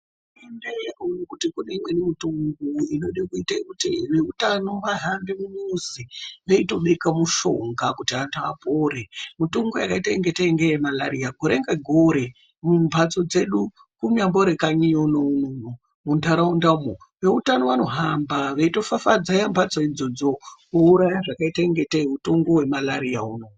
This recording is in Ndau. Kune imweni mitungu inode kuti zveutano vahambe mumizi veitobeka mishonga kuti vanhu vapore. Mitungu yakaitange semarariya gore ngegore mumhatso dzedu kunyambori kanyi unono, munharaundamo vezveutano vanotohamba veitofafazeya mhatso idzodzo kuuraya utunga hwakaitenge mitungu yemarariya yo.